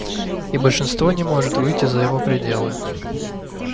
и большинство не может выйти за его пределы